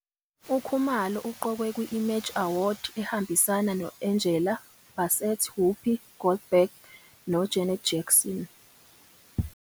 UKhumalo uqokwe kwi- Image Award, ehambisana no- Angela Bassett, Whoopi Goldberg noJanet Jackson.